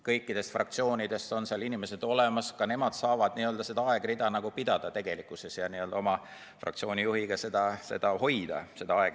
Kõikidest fraktsioonidest on seal inimesed olemas ja nad saavad seda aegrida tegelikkuses ka koos oma fraktsiooni juhiga pidada.